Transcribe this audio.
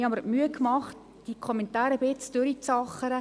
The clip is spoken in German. Ich habe mir die Mühe gemacht, diese Kommentare ein wenig durchzuackern.